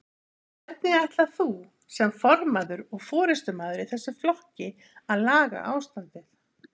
Hvernig ætlar þú sem formaður og forystumaður í þessum flokki að laga ástandið?